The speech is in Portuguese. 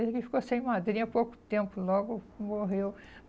Ele ficou sem madrinha há pouco tempo, logo morreu.